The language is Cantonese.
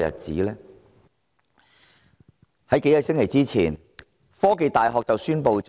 在數個星期前，香港科技大學宣布，